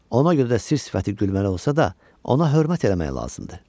Ona görə də sir sifəti gülməli olsa da, ona hörmət eləmək lazımdır.